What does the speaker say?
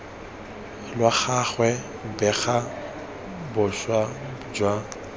lwa gagwe bega boswa jwa